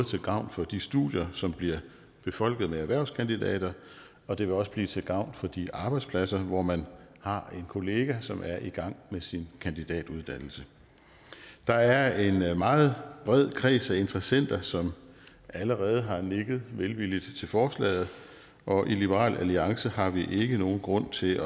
til gavn for de studier som bliver befolket med erhvervskandidater og det vil også blive til gavn for de arbejdspladser hvor man har en kollega som er i gang med sin kandidatuddannelse der er en meget bred kreds af interessenter som allerede har nikket velvilligt til forslaget og i liberal alliance har vi ikke nogen grund til